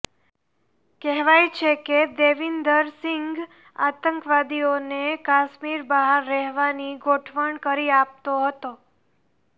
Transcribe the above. કહેવાય છે કે દેવિન્દર સિંઘ આતંકવાદીઓને કાશ્મીર બહાર રહેવાની ગોઠવણ કરી આપતો હતો